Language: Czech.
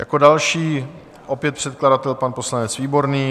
Jako další opět předkladatel pan poslanec Výborný.